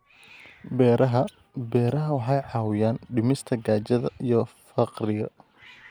Beeraha Beeraha waxay caawiyaan dhimista gaajada iyo faqriga.